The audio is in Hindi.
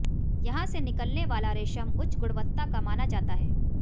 यहां से निकलने वाला रेशम उच्च गुणवत्ता का माना जाता है